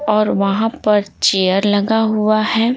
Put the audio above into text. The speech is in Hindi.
और वहाँ पर चेयर लगा हुआ है।